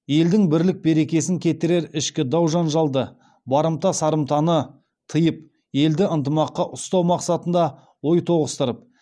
елдің бірлік берекесін кетірер ішкі дау жанжалды барымта сырымтаны тиып елді ынтымақта ұстау мақсатында ой тоғыстырып